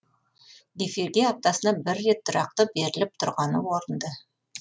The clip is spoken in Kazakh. эфирге аптасына бір рет тұрақты беріліп тұрғаны орынды